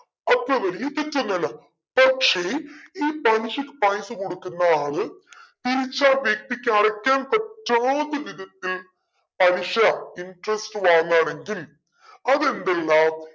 അത്ര വലിയ തെറ്റൊന്നല്ല പക്ഷെ ഈ പലിശക്ക് പൈസ കൊടുക്കുന്ന ആൾ തിരിച്ചു ആ വ്യക്തിക്ക് അടക്കാൻ പറ്റാത്ത വിധത്തിൽ പലിശ interest വാങ്ങാണെങ്കിൽ അതെന്തല്ല